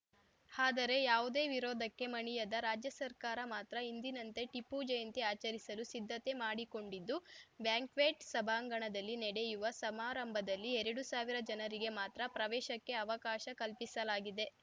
ಆದರೆ ಯಾವುದೇ ವಿರೋಧಕ್ಕೆ ಮಣಿಯದ ರಾಜ್ಯ ಸರ್ಕಾರ ಮಾತ್ರ ಹಿಂದಿನಂತೆ ಟಿಪ್ಪು ಜಯಂತಿ ಆಚರಿಸಲು ಸಿದ್ಧತೆ ಮಾಡಿಕೊಂಡಿದ್ದು ಬ್ಯಾಂಕ್ವೆಟ್‌ ಸಭಾಂಗಣದಲ್ಲಿ ನೆಡೆಯುವ ಸಮಾರಂಭದಲ್ಲಿ ಎರಡು ಸಾವಿರ ಜನರಿಗೆ ಮಾತ್ರ ಪ್ರವೇಶಕ್ಕೆ ಅವಕಾಶ ಕಲ್ಪಿಸಲಾಗಿದೆ